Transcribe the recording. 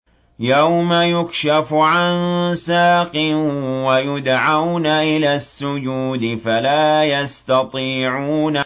يَوْمَ يُكْشَفُ عَن سَاقٍ وَيُدْعَوْنَ إِلَى السُّجُودِ فَلَا يَسْتَطِيعُونَ